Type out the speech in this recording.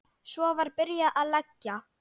Svo var byrjað að leggja.